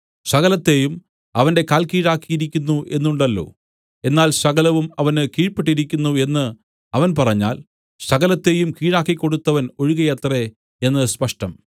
സകലത്തെയും അവന്റെ കാൽക്കീഴാക്കിയിരിക്കുന്നു എന്നുണ്ടല്ലോ എന്നാൽ സകലവും അവന് കീഴ്പെട്ടിരിക്കുന്നു എന്ന് അവൻ പറഞ്ഞാൽ സകലത്തെയും കീഴാക്കിക്കൊടുത്തവൻ ഒഴികെയത്രേ എന്ന് സ്പഷ്ടം